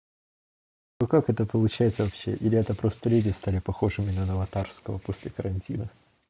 ну как это получается вообще или это просто леди стали похожими на аватарского после карантина